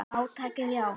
Átakið, já.